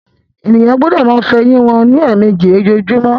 Ènìyàn gbọdọ máa fọ ẹyìn wọn ní èèmejì lójoojúmó